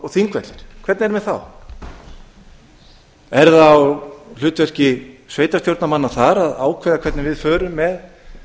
og þingvellir hvernig er með þá er það á hlutverki sveitarstjórnarmanna þar að ákveða hvernig við förum með